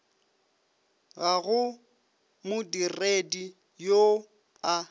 ga go modiredi yoo a